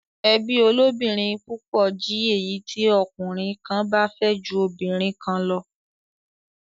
Ẹbí olóbìnrin púpọ̀ jí èyí tí ọkùnrin kan bá fẹ́ ju obìnrin kan lọ.